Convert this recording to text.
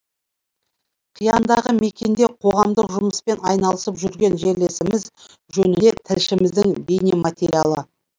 қияндағы мекенде қоғамдық жұмыспен айналысып жүрген жерлесіміз жөнінде тілшіміздің бейнематериалы